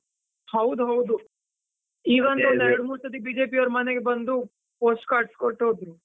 ಹೌದು ಹೌದು, ಒಂದು ಎರಡು ಸರ್ತಿ BJP ಯವರು ಮನೆಗೆ ಬಂದು, post cards ಕೊಟ್ಟು ಹೋದ್ರು.